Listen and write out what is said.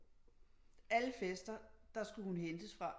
Alle fester der skulle hun hentes fra